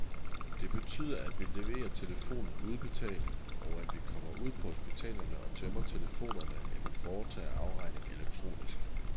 Det betyder, at vi leverer telefonen uden betaling, og at vi kommer ud på hospitalerne og tømmer telefonerne eller foretager afregning elektronisk.